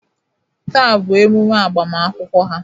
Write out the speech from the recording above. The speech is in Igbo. Taa bụ emume agbamakwụkwọ ha.